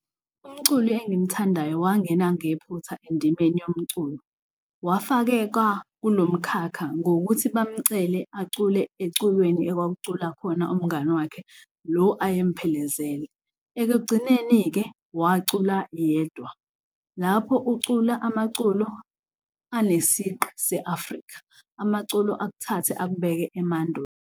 Umculi engimthandayo wangena ngephutha endimeni yomculo wafakekwa kulo mkhakha ngokuthi bamcele acule eculweni ekwakucula khona umngani wakhe lo ayemphelezele. Ekugcineni-ke wacula yedwa. Lapho ucula amaculo enesigqi se-Afrika, amaculo akuthathe akubeke emandulo.